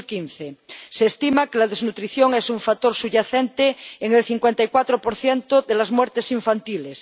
2015. Se estima que la desnutrición es un factor subyacente en el 54 de las muertes infantiles.